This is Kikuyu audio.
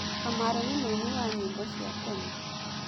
Kamaru nĩ mũini wa nyĩmbo cia tene.